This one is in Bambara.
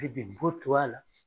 ko to a la.